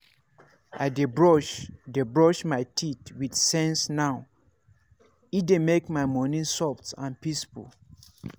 i dey brush dey brush my teeth with sense now — e dey make my morning soft and peaceful.